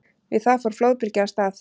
Við það fór flóðbylgja af stað.